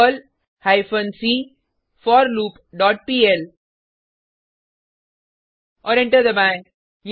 Perl hyphen C for loop dot PL और enter दबाएँ